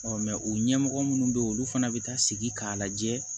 o ɲɛmɔgɔ minnu bɛ yen olu fana bɛ taa sigi k'a lajɛ